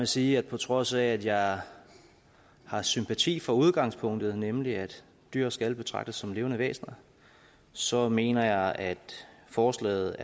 sige at på trods af at jeg har sympati for udgangspunktet nemlig at dyr skal betragtes som levende væsener så mener jeg at forslaget